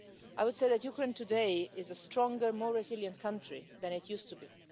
I would say that Ukraine today is a stronger, more resilient country than it used to be.